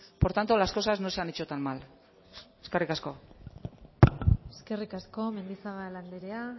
por tanto las cosas no se han hecho tan mal eskerrik asko eskerrik asko mendizabal andrea